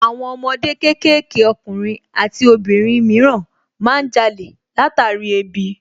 Àwọn ọmọ kéékèèké ọkùnrin àti obìnrin mìíràn má ń jalè látàrí ebi